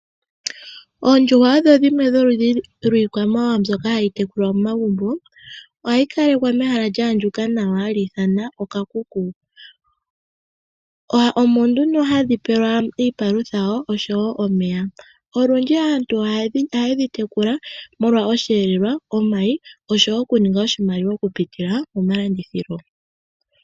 Oondjuhwa odho dhimwe dholudhi lwiikwamawawa mbyoka hayi tekulwa momagumbo ohayi kalekwa mehala lyaandjuka nawa hali ithanwa okakuku, omo nduno hadhi pewelwa iipalutha osho wo omeya. Olundji aantu ohaye dhi tekula molwa oshiyelelwa, omayi osho wo okuninga oshimaliwa okupitila momalandithilo.